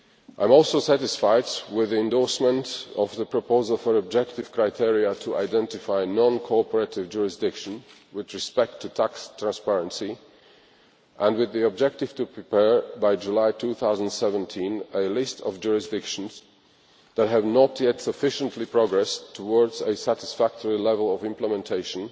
I am also satisfied with the endorsement of the proposal for objective criteria to identify non cooperative jurisdictions with respect to tax transparency and with the objective to prepare, by July 2017, a list of jurisdictions that have not yet sufficiently progressed towards a satisfactory level of implementation,